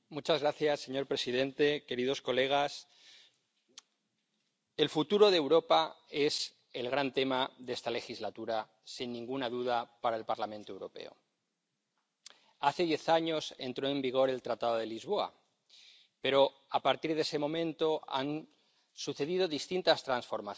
Señor presidente, señorías, el futuro de Europa es el gran tema de esta legislatura, sin ninguna duda, para el Parlamento Europeo. Hace diez años entró en vigor el Tratado de Lisboa, pero, a partir de ese momento, han sucedido distintas transformaciones